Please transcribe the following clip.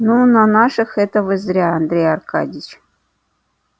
ну на наших это вы зря андрей аркадьевич